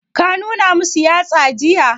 Ka nuna masu yatsa jiya?